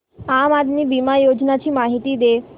आम आदमी बिमा योजने ची माहिती दे